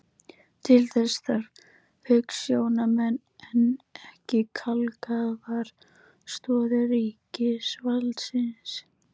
Til þess þarf hugsjónamenn en ekki kalkaðar stoðir ríkisvaldsins.